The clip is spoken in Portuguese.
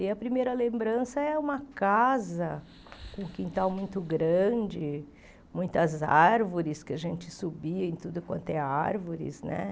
E a primeira lembrança é uma casa com um quintal muito grande, muitas árvores, que a gente subia em tudo quanto é árvores, né?